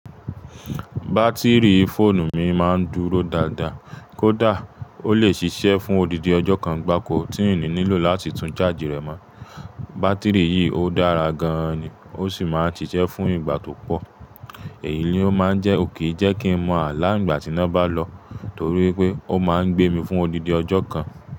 Bátìrì fóònù mi máa ń dúró dáadáa, kódà, ó lè ṣiṣẹ́ fún odidi ọjọ́ kan gbáko tí n ni nílò láti tún charge rẹ̀ mọ́. Bátìrì yìí ò dára gan-an ni, ó sì máa n siṣẹ́ fún ìgbà tó pọ̀. Èyí ló máa ń jẹ́, ko kin jẹ́ kí n mọ àlá ìgbà tí iná bá lọ, torí pé ó máa ń gbé mi fún odidi ọjọ́ kan.